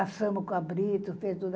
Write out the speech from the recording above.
Assamos cabrito, fez tudo.